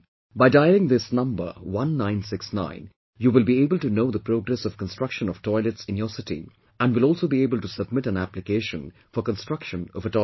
By dialing this number 1969 you will be able to know the progress of construction of toilets in your city and will also be able to submit an application for construction of a toilet